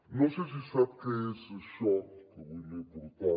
no sé si sap què és això que avui li he portat